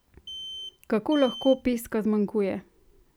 Kako lahko peska zmanjkuje?